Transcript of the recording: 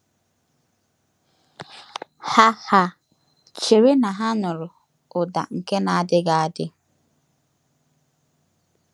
Ha Ha chere na ha nụrụ ụda nke na-adịghị adị!